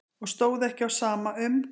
Og stóð ekki á sama um.